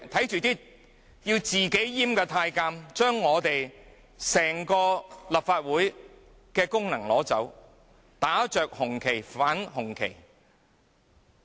這些自行閹割的太監，奪去了立法會整個功能，打着紅旗反紅旗。